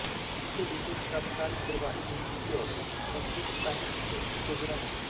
इसे विशेषत तात्कालिक दरबारी संस्कृति और संस्कृतसाहित्य से उत्तेजना मिली